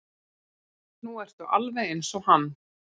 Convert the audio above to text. Nú ertu alveg eins og hann.